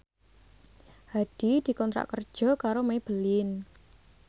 Hadi dikontrak kerja karo Maybelline